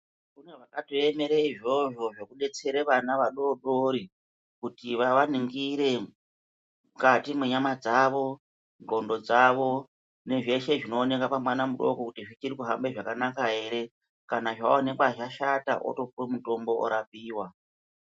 Kune vakatoemera izvozvo zvekudetsere vana vadodori, kuti vavaringire mukati menyama dzavo, ndxondo dzavo nezveshe zvinooneka pamwana mudoko kuti zvichiri kuhambe zvakanaka here. Kana zvawonekwa zvashata wotopiwa mutombo orapiwa.